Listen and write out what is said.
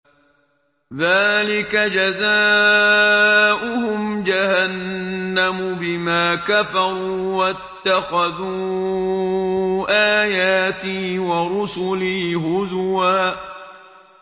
ذَٰلِكَ جَزَاؤُهُمْ جَهَنَّمُ بِمَا كَفَرُوا وَاتَّخَذُوا آيَاتِي وَرُسُلِي هُزُوًا